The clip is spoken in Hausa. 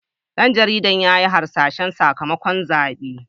Dan jaridar ya yi hasashen sakamakon zaben.